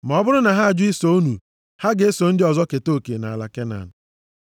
Ma ọ bụrụ na ha ajụ iso unu, ha ga-eso ndị ọzọ keta oke nʼala Kenan.”